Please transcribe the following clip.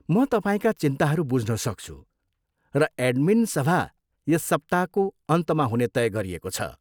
म तपाईँका चिन्ताहरू बुझ्न सक्छु र एडमिन सभा यस सप्ताको अन्तमा हुने तय गरिएको छ।